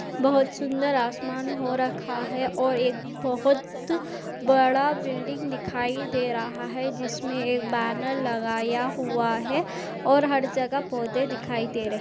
बोहत सुंदर आसमान हो रखा हैं और एक बोहत बड़ा बिल्डिंग दिखाई दे रहा हैं। जिसमे एक बैनर लगाया हुआ है और हर जगह पौधे दिखाई दे रहे --